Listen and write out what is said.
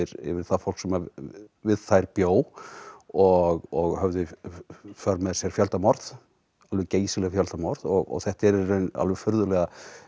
yfir það fólk sem við þær bjó og og höfðu í för með sér fjöldamorð geysileg fjöldamorð þetta er í raun alveg furðulega